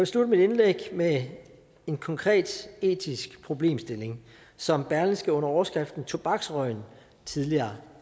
slutte mit indlæg med en konkret etisk problemstilling som berlingske under overskriften tobaksrøgen tidligere